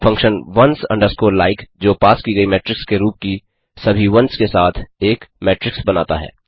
function ones underscore like जो पास की गयी मेट्रिक्स के रूप की सभी वंस के साथ एक मेट्रिक्स बनाता है